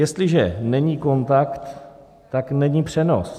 Jestliže není kontakt, tak není přenos.